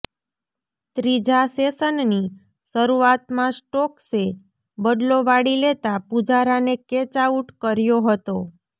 ત્રીજા સેશનની શરૃઆતમાં સ્ટોક્સે બદલો વાળી લેતા પૂજારાને કેચ આઉટ કર્યો હતો